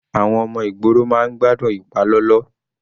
Àwọn ọmọ ìgboro máa ń gbádùn ìpalọlọ.